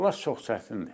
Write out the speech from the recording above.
Bunlar çox çətindir.